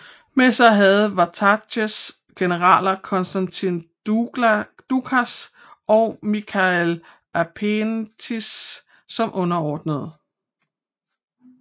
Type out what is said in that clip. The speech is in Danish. Med sig havde Vatatzes generalerne Konstantin Doukas og Michael Aspietes som underordnede